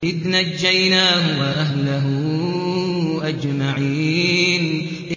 إِذْ نَجَّيْنَاهُ وَأَهْلَهُ أَجْمَعِينَ